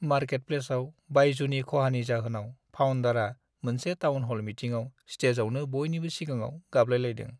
मारकेटप्लेसआव बायजुनि खहानि जाहोनाव फाउन्डारआ मोनसे टाउनह'ल मिटिंआव स्टेजआवनो बयनिबो सिगांआव गाबलायलायदों।